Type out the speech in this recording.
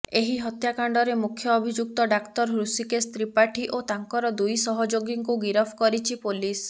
ଏହି ହତ୍ୟାକାଣ୍ଡରେ ମୁଖ୍ୟ ଅଭିଯୁକ୍ତ ଡାକ୍ତର ହୃଷିକେଶ ତ୍ରିପାଠୀ ଓ ତାଙ୍କର ଦୁଇ ସହଯୋଗୀଙ୍କୁ ଗିରଫ କରିଛି ପୋଲିସ